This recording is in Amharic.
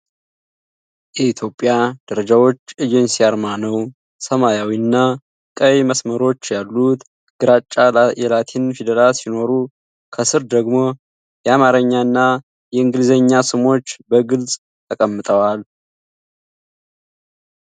የኢትዮጵያ ደረጃዎች ኤጀንሲ አርማ ነው። ሰማያዊና ቀይ መስመሮች ያሉት ግራጫ የላቲን ፊደላት ሲኖሩ፣ ከስር ደግሞ የአማርኛና የእንግሊዝኛ ስሞች በግልጽ ተቀምጠዋል፡፡